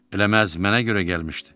Eləməz mənə görə gəlmişdi.